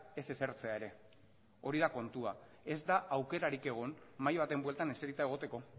ez esertzea ere hori da kontua ez da aukerarik egon mahai baten bueltan eserita egoteko